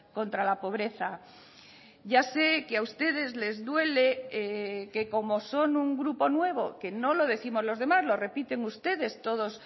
contra la pobreza ya sé que a ustedes les duele que como son un grupo nuevo que no lo décimos los demás lo repiten ustedes todos